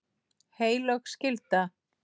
Heilög skylda.